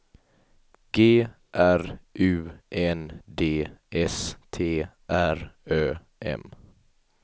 G R U N D S T R Ö M